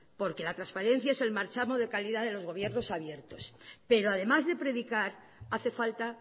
porque la transparencia es el marchamo de calidad de los gobiernos abiertos pero además de predicar hace falta